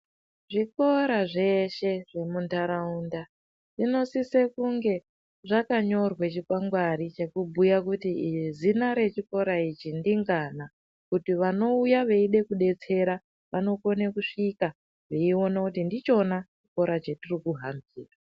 Zvikora zveshe zvemuntaraunda ,zvinosise kunge zvakanyorwe chikwangwari ,chekubhuya kuti zina rechikora ichi ndingana, kuti vanouya veide kudetsera, vanokone kusvika, veiona kuti ndichona chikoro chetiri kuhambira.